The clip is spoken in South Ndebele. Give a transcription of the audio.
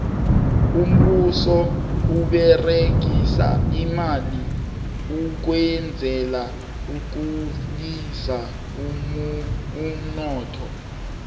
umbuso uberegisa imali ukwenzela ukhulisa umnotho